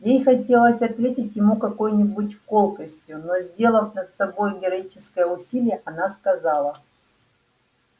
ей хотелось ответить ему какой-нибудь колкостью но сделав над собой героическое усилие она сказала